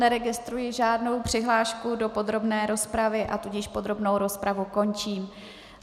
Neregistruji žádnou přihlášku do podrobné rozpravy, a tudíž podrobnou rozpravu končím.